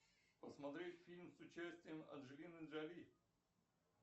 посмотреть фильм с участием анджелины джоли